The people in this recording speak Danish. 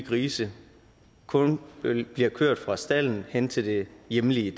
grise kun bliver kørt fra stalden og hen til det hjemlige